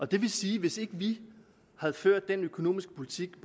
det vil sige at hvis ikke vi havde ført den økonomiske politik